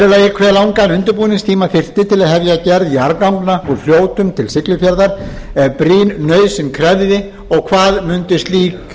hve langan undirbúningstíma þyrfti til að hefja gerð jarðganga úr fljótum til siglufjarðar ef brýn nauðsyn krefði og hvað mundu slík